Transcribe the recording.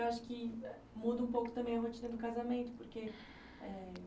Porque eu acho que muda um pouco também a rotina do casamento, porque